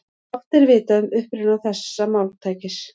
Fátt er vitað um uppruna þessa máltækis.